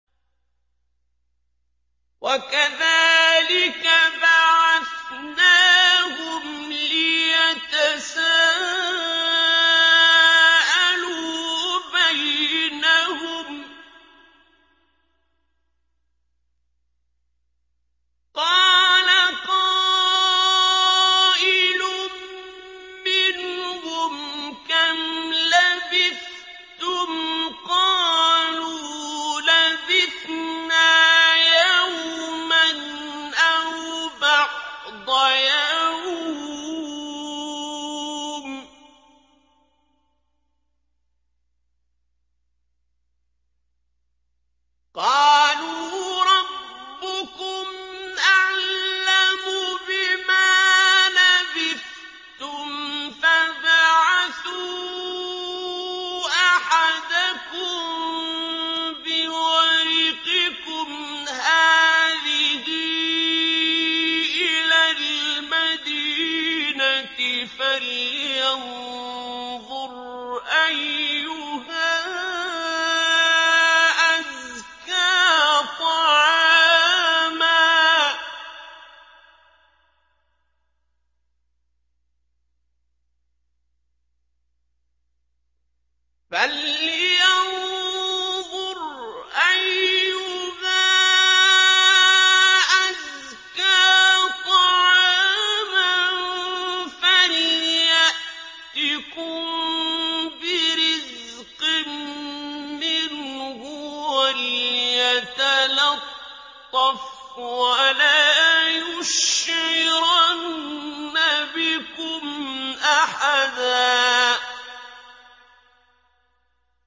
وَكَذَٰلِكَ بَعَثْنَاهُمْ لِيَتَسَاءَلُوا بَيْنَهُمْ ۚ قَالَ قَائِلٌ مِّنْهُمْ كَمْ لَبِثْتُمْ ۖ قَالُوا لَبِثْنَا يَوْمًا أَوْ بَعْضَ يَوْمٍ ۚ قَالُوا رَبُّكُمْ أَعْلَمُ بِمَا لَبِثْتُمْ فَابْعَثُوا أَحَدَكُم بِوَرِقِكُمْ هَٰذِهِ إِلَى الْمَدِينَةِ فَلْيَنظُرْ أَيُّهَا أَزْكَىٰ طَعَامًا فَلْيَأْتِكُم بِرِزْقٍ مِّنْهُ وَلْيَتَلَطَّفْ وَلَا يُشْعِرَنَّ بِكُمْ أَحَدًا